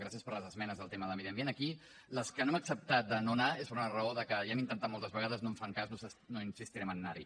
gràcies per les esmenes al tema de medi ambient aquí les que no hem acceptat de no anar hi és per una raó de que ja ho hem intentat moltes vegades no ens fan cas no insistirem a anar hi